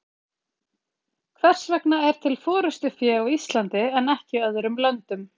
hvers vegna er til forystufé á íslandi en ekki í öðrum löndum